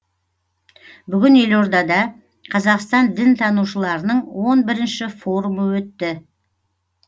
бүгін елордада қазақстан дінтанушыларының он бірінші форумы өтті